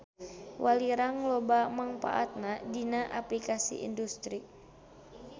Walirang loba mangpaatna dina aplikasi industri.